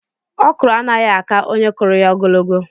Okro anaghị àkà onye kuruya ogologo.